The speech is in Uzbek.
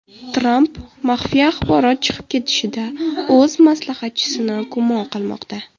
Tramp maxfiy axborot chiqib ketishida o‘z maslahatchisini gumon qilmoqda.